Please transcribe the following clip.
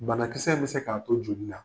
Banakisɛ bɛ se k'a to joli na